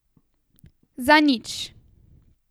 Za nič!